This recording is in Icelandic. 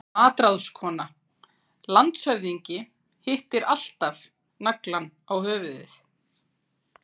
MATRÁÐSKONA: Landshöfðingi hittir alltaf naglann á höfuðið.